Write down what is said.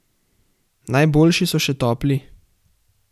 Najboljši so še topli!